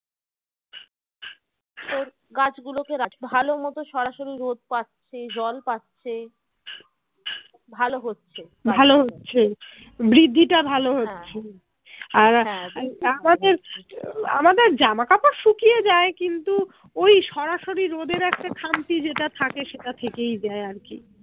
আমাদের জামা কাপড় শুকিয়ে যায় কিন্তু ওই সরাসরি রোদের একটা খামতি যেটা থাকে সেটা থেকেই যায় আর কি।